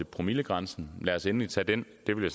promillegrænsen lad os endelig tage den det vil